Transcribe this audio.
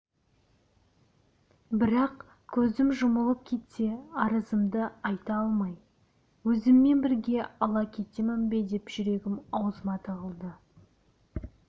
бірақ көзім жұмылып кетсе арызымды айта алмай өзіммен бірге ала кетемін бе деп жүрегім аузыма тығылды